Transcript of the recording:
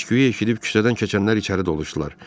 Səsküyü eşidib küçədən keçənlər içəri doluşdular.